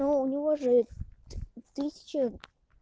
но у него же ты тысяча